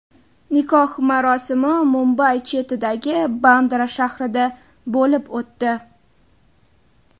Nikoh marosimi Mumbay chetidagi Bandra shahrida bo‘lib o‘tdi.